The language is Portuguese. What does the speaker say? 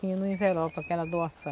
Tinha no envelope aquela doação.